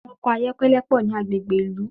Àwọn ọkọ̀ ayọ́kẹ́lẹ́ pọ̀ ní agbègbè ìlú